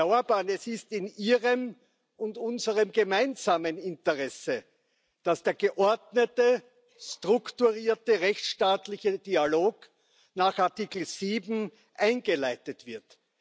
Herr Orbán, es ist in Ihrem und unserem gemeinsamen Interesse, dass der geordnete, strukturierte, rechtstaatliche Dialog nach Artikel 7 eingeleitet wird.